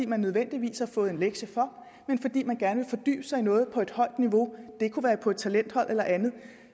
man nødvendigvis har fået en lektie for men fordi man gerne vil fordybe sig i noget på et højt niveau det kunne være på et talenthold eller andet